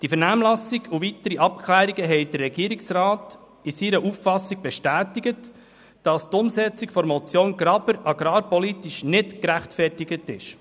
Die Vernehmlassung und weitere Abklärungen bestätigten den Regierungsrat in seiner Auffassung, wonach die Umsetzung der Motion Graber agrarpolitisch nicht gerechtfertigt sei.